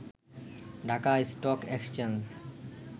Dhaka stock exchange